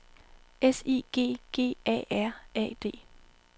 S I G G A A R D